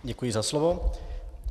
Děkuji za slovo.